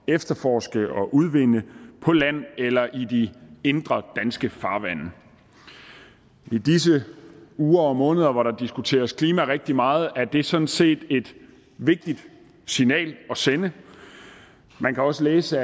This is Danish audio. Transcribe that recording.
efterforske og udvinde dem på land eller i de indre danske farvande i disse uger og måneder hvor der diskuteres klima rigtig meget er det sådan set et vigtigt signal at sende man kan også læse